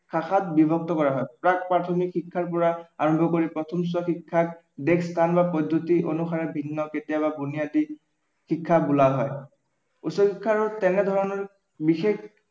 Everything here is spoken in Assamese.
শাখাত বিভক্ত কৰা হয়। প্ৰাক-প্ৰাথমিক শিক্ষাৰ পৰা আৰম্ভ কৰি প্ৰথম চোৱা শিক্ষাৰ দেশ, স্থান বা পদ্ধতি অনুসাৰে ভিন্ন কেতিয়াবা বুনিয়াদী শিক্ষা বোলা হয়, উচ্চ শিক্ষাৰো তেনেধৰণৰ বিশেষ